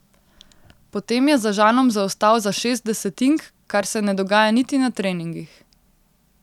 Potem je za Žanom zaostal za šest desetink, kar se ne dogaja niti na treningih.